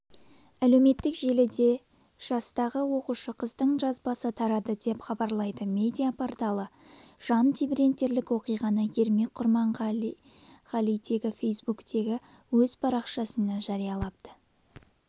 әлеуметтік желіде жастағы оқушы қыздың жазбасы тарады деп хабарлайды медиа порталы жан тебірентерлік оқиғаны ермек құрманғалитегі фейсбуктегі өз парақшасына жариялапты